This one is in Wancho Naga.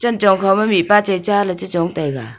chong kho ma mihpa chai cha le che chong taiga.